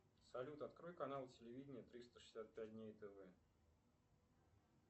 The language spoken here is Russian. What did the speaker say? салют открой канал телевидения триста шестьдесят пять дней тв